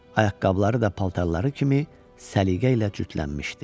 Ayaqqabıları da paltarları kimi səliqə ilə cütlənmişdi.